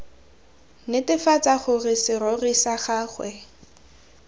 netefatsa gore serori sa gagwe